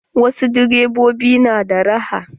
Wasu direbobin na da raha.